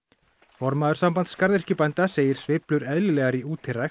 formaður Sambands garðyrkjubænda segir sveiflur eðlilegar í